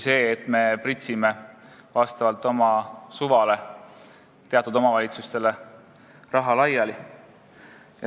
Praegu me pritsime vastavalt oma suvale teatud omavalitsustele raha laiali.